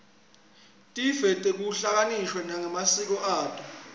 tive tehlukaniswe ngemasiko ato